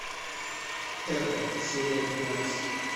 хека серия пятнадцать